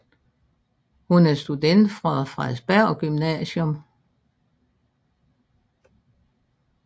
Hun er student fra Frederiksberg Gymnasium